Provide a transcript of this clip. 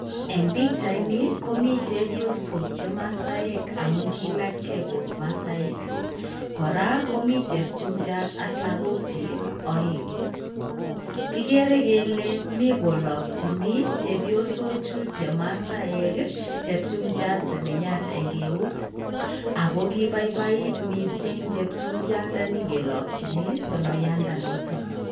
Eng' pichaini komi chepyosok che masaek amun kiilachge kou masaek. Koraa, komi chepchumchat ak lagokyik oeng'. Kigere kele mi kolokchin chepyosochu chemasaek, chepchumchat sonoyat eng' eut ago kibaibait missing chepchumbiandani kiloykin sonoyandanoton.